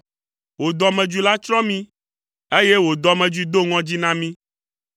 Wò dɔmedzoe la tsrɔ̃ mí eye wò dɔmedzoe do ŋɔdzi na mí.